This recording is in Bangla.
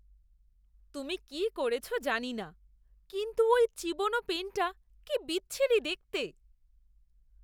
তুমি কি করেছ জানি না, কিন্তু ওই চিবনো পেনটা কি বিচ্ছিরি দেখতে।